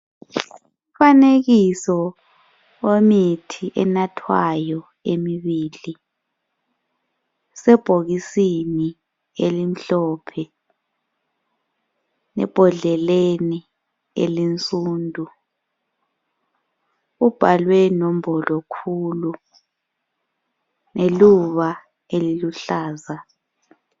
Umfanekiso wemithi enathwayo emibili usebhokisini elimhlophe, ebhodleleni elinsundu ubhalwe nombolo khulu leluba eliluhlaza.